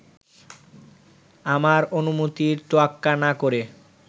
আমার অনুমতির তোয়াক্কা না করে